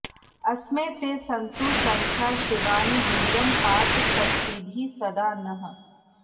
अस्मे ते सन्तु सख्या शिवानि यूयं पात स्वस्तिभिः सदा नः